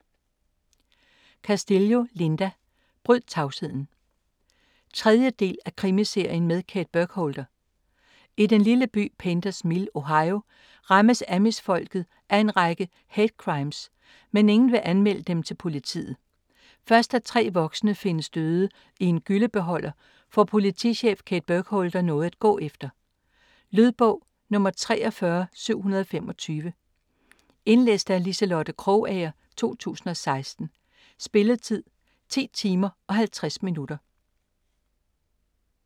Castillo, Linda: Bryd tavsheden 3. del af Krimiserien med Kate Burkholder. I den lille by Painters Mill, Ohio, rammes amish-folket af en række hate-crimes, men ingen vil anmelde dem til politiet. Først da 3 voksne findes døde i en gyllebeholder får politichef Kate Burkholder noget at gå efter. Lydbog 43725 Indlæst af Liselotte Krogager, 2016. Spilletid: 10 timer, 50 minutter.